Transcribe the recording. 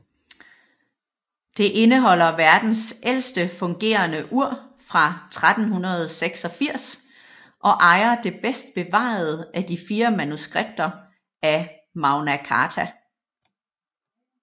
Det indeholder verdens ældst fungerende ur fra 1386 og ejer det bedst bevarede af de fire manuskripter af Magna Carta